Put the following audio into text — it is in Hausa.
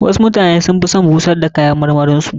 Wasu mutane sun fi son bushar da kayan marmarin su.